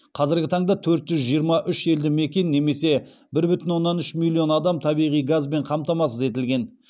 қазіргі таңда төрт жүз жиырма үш елді мекен немесе бір бүтін оннан үш миллион адам табиғи газбен қамтамасыз етілген